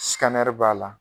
b'a la,